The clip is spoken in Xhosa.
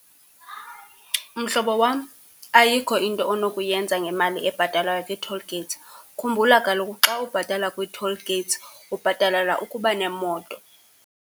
Mhlobo wam, ayikho into onokuyenza ngemali ebhatalwayo kwi-toll gates. Khumbula kaloku xa ubhatala kwi-toll gates ubhatalela ukuba nemoto.